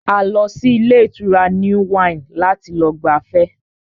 A lọ sí ilé ìtura New Wine láti lọ gbafẹ́